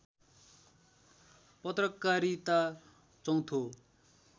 पत्रकारिता चौथो